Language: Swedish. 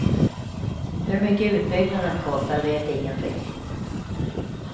Hur mycket utbyggnaden kostar vet ingen riktigt.